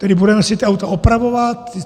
Tedy budeme si ta auta opravovat?